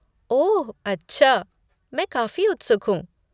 ओह अच्छा, मैं काफ़ी उत्सुक हूँ।